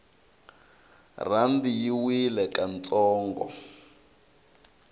rhandi yi wile ka ntsongo